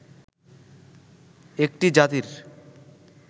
একটি জাতির